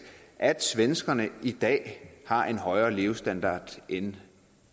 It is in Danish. at svenskerne i dag har en højere levestandard end